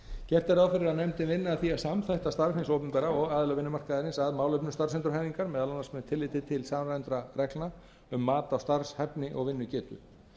gert er ráð fyrir að nefndin vinni að því að samþætta starf hins opinbera og aðila vinnumarkaðarins að málefnum starfsendurhæfingar meðal annars með tilliti til samræmdra reglna um mat á starfshæfni og vinnugetu